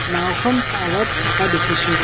নাওঁখন পাৰত থাকা দেখিছোঁ।